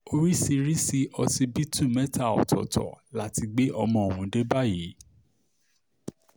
orísírisi ọsibítù mẹ́ta ọ̀tọ̀ọ̀tọ̀ la ti gbé ọmọ ọ̀hún dé báyìí